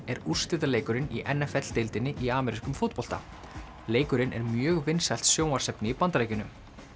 er úrslitaleikurinn í n f l deildinni í amerískum fótbolta leikurinn er mjög vinsælt sjónvarpsefni í Bandaríkjunum